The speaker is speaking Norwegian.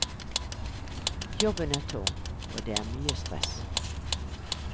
Jobben er tung, og det er mye stress.